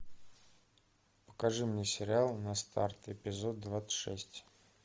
покажи мне сериал на старт эпизод двадцать шесть